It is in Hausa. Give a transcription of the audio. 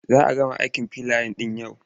Za a gama aikin filaya ɗin yau.